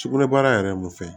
Sugunɛbara yɛrɛ mun fɛ